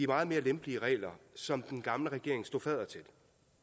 meget mere lempelige regler som den gamle regering stod fadder til